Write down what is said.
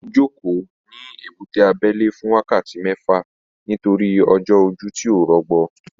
Mo jókòó ní ebúté abẹ́lé fún wákàtí mẹ́fà nítorí ojú ọjọ́ tí ò rọgbọ